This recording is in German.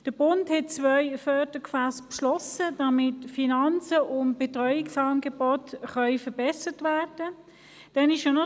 Der Bund hat zwei Fördergefässe beschlossen, damit die Finanzen und die Betreuungsangebote verbessert werden können.